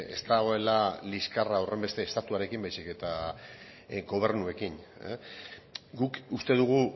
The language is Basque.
ez dagoela liskarra horrenbeste estatuarekin baizik eta gobernuekin guk uste dugu